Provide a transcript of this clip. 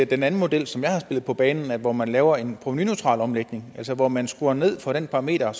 den anden model som jeg har spillet på banen hvor man laver en provenuneutral omlægning altså hvor man skruer ned for det parameter